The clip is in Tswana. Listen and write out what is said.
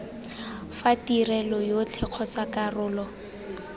fa tirelo yotlhe kgotsa karolo